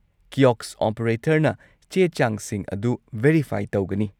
Kiosk ꯑꯣꯄꯔꯦꯇꯔꯅ ꯆꯦ-ꯆꯥꯡꯁꯤꯡ ꯑꯗꯨ ꯚꯦꯔꯤꯐꯥꯏ ꯇꯧꯒꯅꯤ꯫